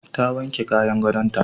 Ta wanke kayan gadonta.